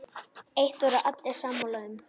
Eitt voru allir sammála um.